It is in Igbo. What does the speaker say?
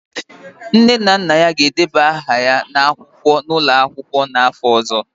Nne na nna ya ga-edeba aha ya n'akwụkwọ n'ụlọ akwụkwọ, n'afọ ọzọ